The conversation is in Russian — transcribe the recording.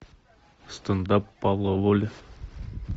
стендап павла воли